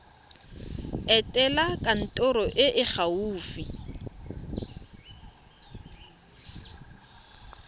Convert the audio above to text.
etela kantoro e e gaufi